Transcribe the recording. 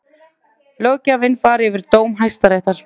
Löggjafinn fari yfir dóm Hæstaréttar